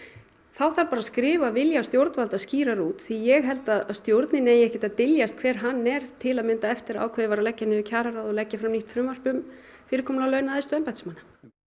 þá þarf bara að skrifa vilja stjórnvalda skýrar út því ég held að stjórninni eigi ekkert að dyljast hver hann er til að mynda eftir að ákveðið var að leggja niður kjararáð og leggja fram nýtt frumvarp um fyrirkomulag launa æðstu embættismanna